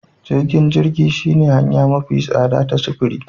Jirgin jirgi shine hanya mafi tsada ta sufuri